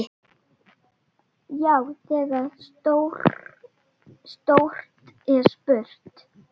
Já, þegar stórt er spurt.